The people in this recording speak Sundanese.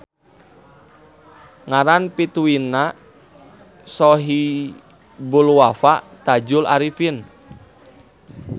Ngaran pituinna Shohibulwafa Tadjul Arifin.